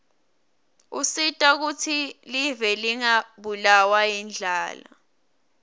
usita kutsi live lingabulawa yindlala